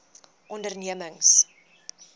ondernemings